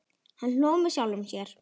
Hann hló með sjálfum sér.